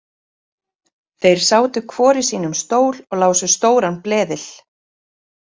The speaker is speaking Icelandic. Þeir sátu hvor í sínum stól og lásu stóran bleðil.